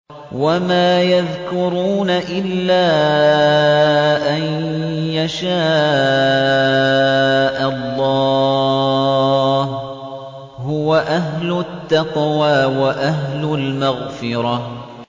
وَمَا يَذْكُرُونَ إِلَّا أَن يَشَاءَ اللَّهُ ۚ هُوَ أَهْلُ التَّقْوَىٰ وَأَهْلُ الْمَغْفِرَةِ